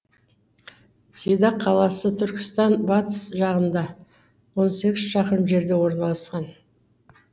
сидақ қаласы түркістан батыс жағында он сегіз шақырым жерде орналасқан